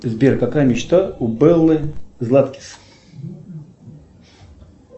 сбер какая мечта у беллы златкис